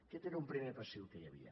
aquest era un primer passiu que hi havia